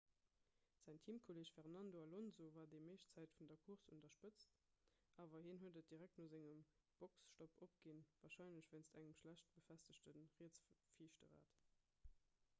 säin teamkolleeg fernando alonso war déi meescht zäit vun der course un der spëtz awer hien huet et direkt no sengem boxestopp opginn warscheinlech wéinst engem schlecht befestegte rietse viischte rad